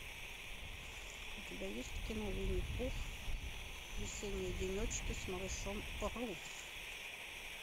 у тебя есть кино винни пух весенние денечки с малышом ру